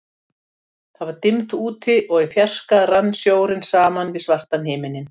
Það var dimmt úti, og í fjarska rann sjórinn saman við svartan himininn.